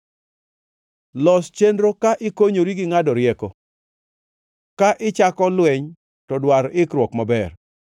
Los chenro ka ikonyori gi ngʼado rieko; ka ichako lweny to dwar ikruok maber.